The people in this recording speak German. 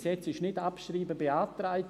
Bisher ist «nicht abschreiben» beantragt.